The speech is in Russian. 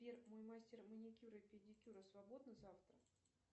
сбер мой мастер маникюра и педикюра свободна завтра